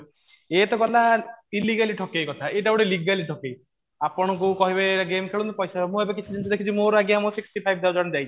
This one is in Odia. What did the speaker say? ଏ ତ କଥା illegally ଠକେଇ କଥା ଏଟା ଗୋଟେ legally ଠକେଇ ଆପଣଙ୍କୁ କହିବେ ଗେମ ଖେଳନ୍ତୁ ପଇସା ମୁଁ ଏବେ କିଛି ଜିନିଷ ଦେଖିଛି ମୋର ଆଜ୍ଞା ମୋର sixty five thousand ଯାଇଛି